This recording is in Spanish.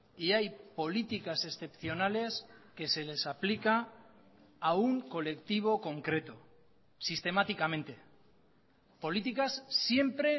y hay políticas excepcionales que se les aplica a un colectivo concreto sistemáticamente políticas siempre